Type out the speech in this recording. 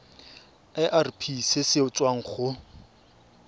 irp se se tswang go